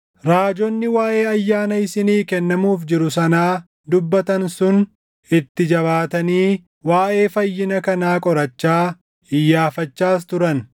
Raajonni waaʼee ayyaana isinii kennamuuf jiru sanaa dubbatan sun itti jabaatanii waaʼee fayyina kanaa qorachaa, iyyaafachaas turan;